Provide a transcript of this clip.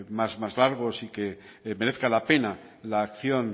más largos y que merezca la pena la acción